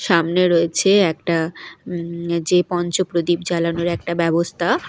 সামনে রয়েছে একটা উম যে পঞ্চপ্রদীপ জ্বালানোর একটা ব্যবস্থা।